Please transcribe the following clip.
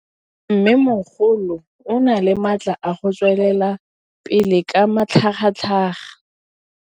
Mmêmogolo o na le matla a go tswelela pele ka matlhagatlhaga.